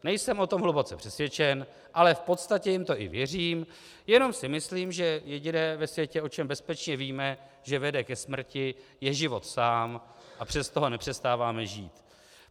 Nejsem o tom hluboce přesvědčen, ale v podstatě jim to i věřím, jenom si myslím, že jediné ve světě, o čem bezpečně víme, že vede ke smrti, je život sám, a přesto ho nepřestáváme žít.